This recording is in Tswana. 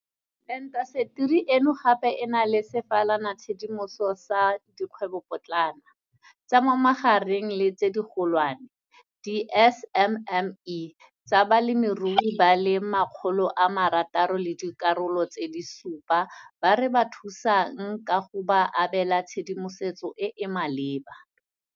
"Intaseteri eno gape e na le sefalanatshedimoso sa dikgwebopotlana, tsa mo magareng le tse digolwane, di-SMME, tsa balemirui ba le 670 ba re ba thusang ka go ba abela tshedimosetso e e maleba," o tlhalosa jalo.